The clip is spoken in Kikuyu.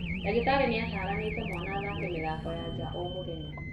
Ndagĩtarĩ nĩataranite mwana athake mĩthako ya nja o mũthenya